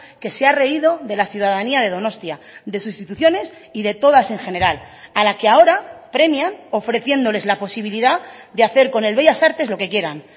que se ha reído de la ciudadanía de donostia de sus instituciones y de todas en general a la que ahora premian ofreciéndoles la posibilidad de hacer con el bellas artes lo que quieran